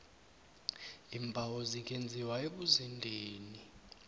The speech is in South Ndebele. iimbawo zingenziwa ebuzendeni